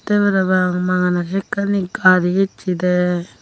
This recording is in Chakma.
te para pang magana sekkani gari ecche de.